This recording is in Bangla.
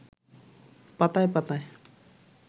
পাতায় পাতায়